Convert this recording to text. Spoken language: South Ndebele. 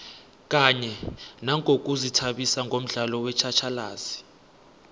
kanye nangokuzithabisa ngomdlalo wetjhatjhalazi